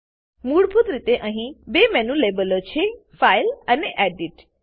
મૂળભૂત રીતે અહીં 2 મેનુ લેબલો છે ફાઇલ ફાઈલ અને એડિટ એડિટ